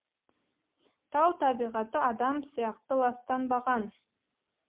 тау табиғаты адам сияқты ластанбаған